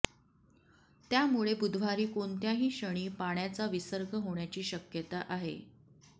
त्यामुळे बुधवारी कोणत्याही क्षणी पाण्याचा विसर्ग होण्याची शक्यता आहे